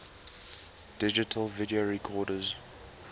digital video recorders